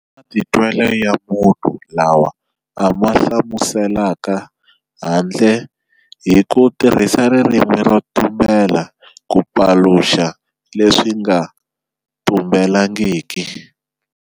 I matitwelo ya munhu lawa a ma humeselaka handle hi ku tirhisa ririmi ro tumbela ku paluxa leswi nga tumbelangiki.